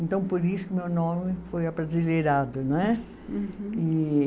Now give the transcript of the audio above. Então, por isso, meu nome foi abrasileirado, né? Uhum. E